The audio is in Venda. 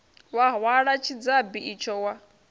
wa hwala tshidzabi itsho wa